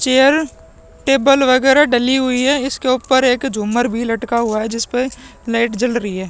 Chair table वगेरा डली हुई है इसके ऊपर एक झूमर भी लटका हुआ है जिस पे लाइट जल रही है।